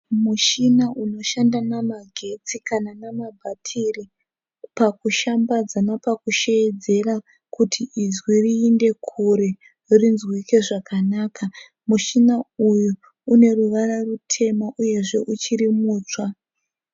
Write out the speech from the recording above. Mushina unoshanda namagetsi kana namabhatiri pakushambadza napakusheedzera kuti inzwi riinde kure rinzwike zvakanaka. Mushina uyu une ruvara rutema uyezve uchiri mutsva.